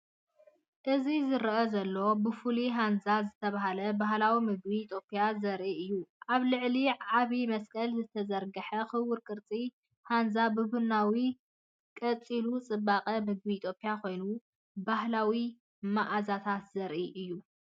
እዚ ዝረአ ዘሎ ብፍሉይ ሃንዛ ዝተባህለ ባህላዊ ምግቢ ኢትዮጵያ ዘርኢ እዩ። ኣብ ልዕሊ ዓቢ መስቀል ዝተዘርግሐ ክቡብ ቅርጺ ሃንዛ ብቡናዊ ቀጺሉ፡ ጽባቐ ምግቢ ኢትዮጵያ ኮይኑ፡ ባህላዊ መኣዛታት ዘርኢ እዩ።